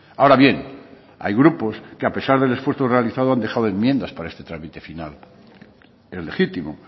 ahora bien hay grupos que a pesar del esfuerzo realizado han dejado enmiendas para este trámite final es legítimo